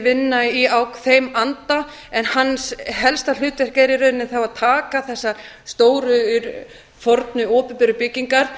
vinna í þeim anda en hans helsta hlutverk er í rauninni þá að taka þessar stóru fornu opinberu byggingar